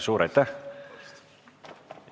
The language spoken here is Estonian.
Suur aitäh!